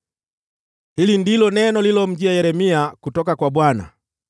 Hili ndilo neno lililomjia Yeremia kutoka kwa Bwana :